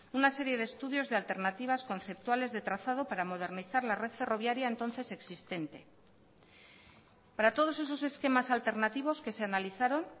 una serie de estudios de alternativas conceptuales de trazado para modernizar la red ferroviaria entonces existente para todos esos esquemas alternativos que se analizaron